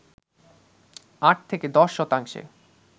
৮-১০ শতাংশে